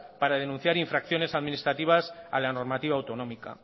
para denunciar infracciones administrativas a la normativa autonómica